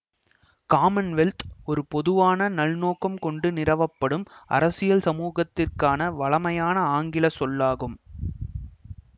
Commonwealth ஓர் பொதுவான நல்நோக்கம் கொண்டு நிறுவப்படும் அரசியல் சமூகத்திற்கான வழமையான ஆங்கிலச் சொல்லாகும்